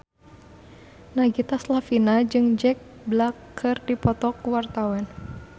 Nagita Slavina jeung Jack Black keur dipoto ku wartawan